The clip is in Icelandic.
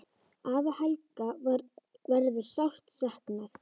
Afa Helga verður sárt saknað.